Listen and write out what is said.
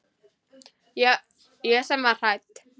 Ég sem var hætt.